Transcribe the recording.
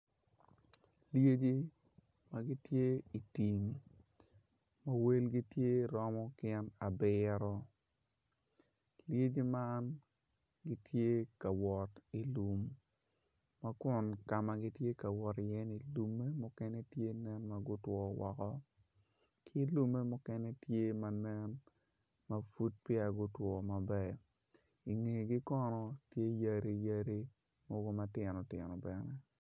Lyecci ma gitye i tim ma welgi tye romo gin abiro lyeci man gitye ka wot i lum ka ma gitye ka wot iye ni lumme mukene gutwo woko ki lumme mukene tye ma nen ma peya gutwi maber i ngegi kono tye yadiyadi matinotino bene.